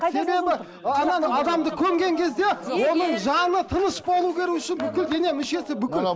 себебі адамды көмген кезде оның жаны тыныш болу үшін бүкіл дене мүшесі бүкіл